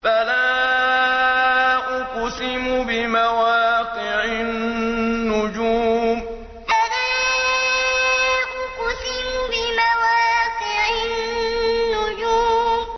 ۞ فَلَا أُقْسِمُ بِمَوَاقِعِ النُّجُومِ ۞ فَلَا أُقْسِمُ بِمَوَاقِعِ النُّجُومِ